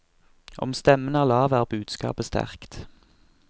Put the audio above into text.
Om stemmen er lav, er budskapet sterkt.